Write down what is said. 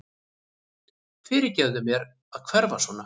Fyrirgefðu mér að hverfa svona.